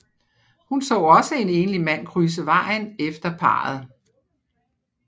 Hun så også en enlig mand krydse vejen efter parret